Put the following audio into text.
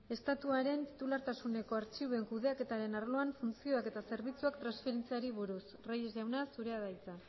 estatuaren titulartasuneko artxiboen kudeaketaren arloan funtzioak eta zerbitzuak transferitzeari buruz reyes jauna zurea da hitza